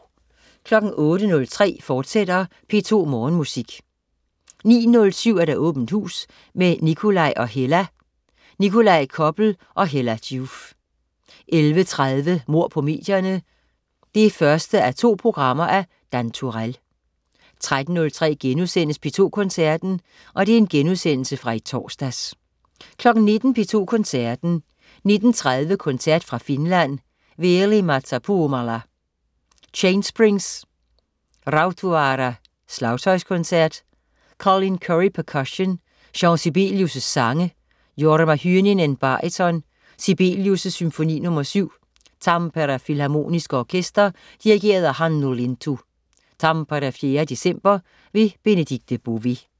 08.03 P2 Morgenmusik, fortsat 09.07 Åbent hus med Nikolaj og Hella. Nikolaj Koppel og Hella Joof 11.30 Mord på medierne. 1:2 af Dan Turéll 13.03 P2 Koncerten.* Genudsendelse fra i torsdags 19.00 P2 Koncerten. 19.30 Koncert fra Finland. Veli-Matti Puumala: Chainsprings. Rautavaara: Slagtøjskoncert. Colin Currie, percussion. Jean Sibelius: Sange. Jorma Hynninen, baryton. Sibelius: Symfoni nr. 7. Tampere Filharmoniske Orkester. Dirigent: Hannu Lintu. (Tampere 4. december). Bemedikte Bové